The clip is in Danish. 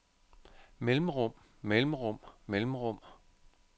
mellemrum mellemrum mellemrum